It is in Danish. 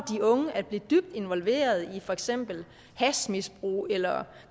unge at blive dybt involveret i for eksempel hashmisbrug eller